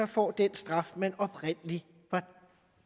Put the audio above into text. får den straf man oprindelig var